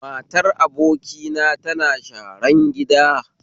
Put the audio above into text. Matar abokina tana sharan gida